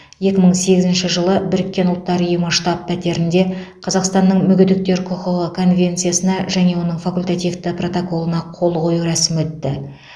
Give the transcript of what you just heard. екі мың сегізінші жылы біріккен ұлттар ұйымы штаб пәтерінде қазақстанның мүгедектер құқығы конвенциясына және оның факультативті протоколына қол қою рәсімі өтті